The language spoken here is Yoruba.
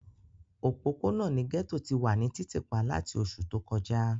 Opopona ni gẹto ti wa ni titipa lati oṣu to kọja.